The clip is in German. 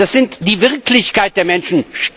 Das ist die Wirklichkeit der Menschen.